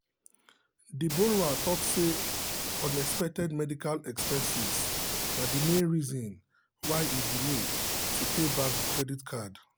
the borrower talk say unexpected medical expenses na the main reason why e delay to pay back the credit card.